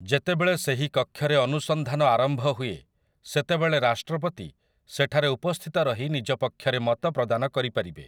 ଯେତେବେଳେ ସେହି କକ୍ଷରେ ଅନୁସଂଧାନ ଆରମ୍ଭ ହୁଏ ସେତେବେଳେ ରାଷ୍ଟ୍ରପତି ସେଠାରେ ଉପସ୍ଥିତ ରହି ନିଜ ପକ୍ଷରେ ମତ ପ୍ରଦାନ କରିପାରିବେ ।